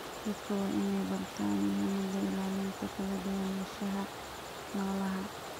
Dadku waa inay bartaan muhiimadda ilaalinta kala duwanaanshaha noolaha.